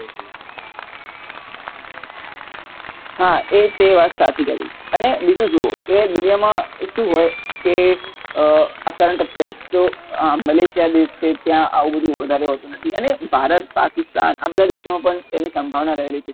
હા એ તે વાત સાચી કરી અને બીજું શું કે દુનિયામાં શું હોય કે આ current affair તો Malaysia દેશ છે ત્યાં આવું બધું વધારે હોતું નથી અને ભારત પાકિસ્તાન આ બધા દેશોમાં પણ તેની સંભાવના રહેલી છે